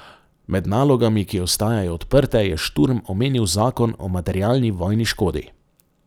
Med nalogami, ki ostajajo odprte, je Šturm omenil zakon o materialni vojni škodi.